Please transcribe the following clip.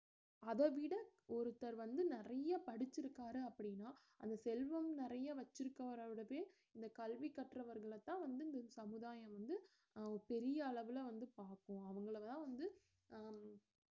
அதவிட ஒருத்தர் வந்து நிறைய படிச்சுருக்காரு அப்படினா அது செல்வம் நிறைய வெச்சுருக்கவரோடதே இந்த கல்வி கற்றவர்களத்தான் வந்து இந்த சமுதாயம் வந்து அஹ் பெரிய அளவுல வந்து பார்க்கும் அவங்கள தான் வந்து அஹ்